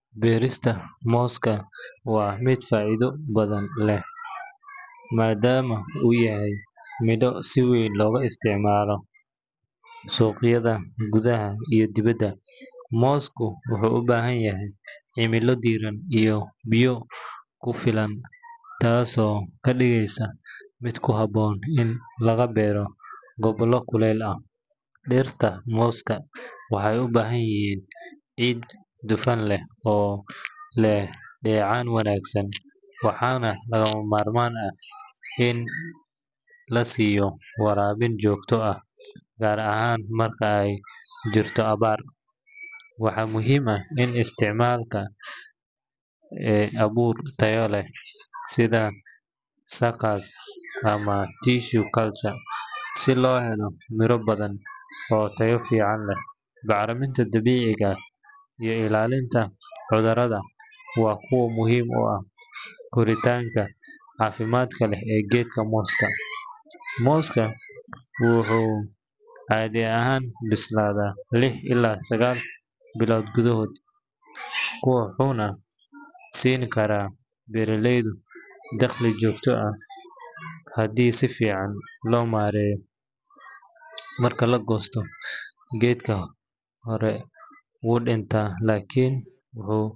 Beerista mooska waa mid faa’iido badan leh maadaama uu yahay midho si weyn looga isticmaalo suuqyada gudaha iyo dibadda. Moosku wuxuu u baahan yahay cimilo diiran iyo biyo ku filan, taasoo ka dhigaysa mid ku habboon in laga beero gobollo kuleyl ah. Dhirta mooska waxay u baahan yihiin ciid dufan leh oo leh dheecaan wanaagsan, waxaana lagama maarmaan ah in la siiyo waraabin joogto ah gaar ahaan marka ay jirto abaar. Waxaa muhiim ah in la isticmaalo abuur tayo leh sida suckers ama tissue culture si loo helo miro badan oo tayo fiican leh. Bacriminta dabiiciga ah iyo ilaalinta cudurrada waa kuwo muhiim u ah koritaanka caafimaadka leh ee geedka mooska. Mooska wuxuu caadi ahaan bislaadaa lix ilaa sagaal bilood gudahood, wuxuuna siin karaa beeraleyda dakhli joogto ah haddii si fiican loo maareeyo. Marka la goosto, geedka hore wuu dhintaan laakiin wuxuu.